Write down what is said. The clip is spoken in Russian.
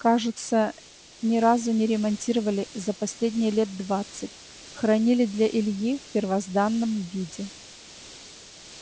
кажется ни разу не ремонтировали за последние лет двадцать хранили для ильи в первозданном виде